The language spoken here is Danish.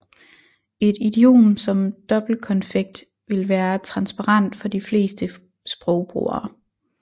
Et idiom som dobbeltkonfekt vil være transparent for de fleste sprogbrugere